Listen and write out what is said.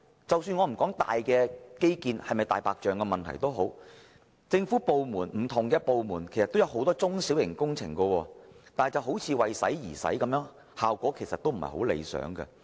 即使我不討論大型基建項目是否"大白象"工程，但不同的政府部門所推出的多項中小型工程卻似乎是"為使而使"，效果有欠理想。